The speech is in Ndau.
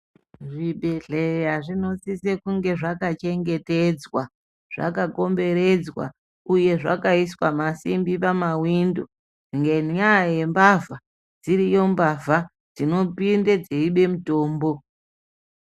Zvibhedhlera zvinosise kunge zvakachengetdzwa zvakakomberedzwa uye zvakaiswa masimbi pawindo ngenyaya yembavha, dziriyo mbavha dzinopinde dzeibe mutombo.